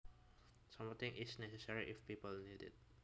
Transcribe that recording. Something is necessary if people need it